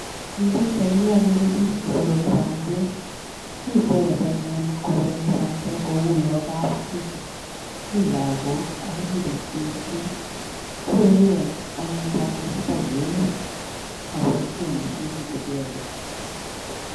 Eng' pichaini okere biik cheborori bandek, Mii icheket anyun koborori bandek kouyo kapchii, mii lakok ak komii biik cheechen, kibororen anyun bandechutok euut moboishen moshinit icheket.